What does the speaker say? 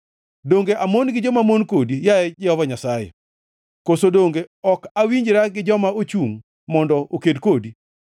Donge amon gi jomamon kodi, yaye Jehova Nyasaye, koso donge ok awinjra gi joma chungʼ mondo oked kodi?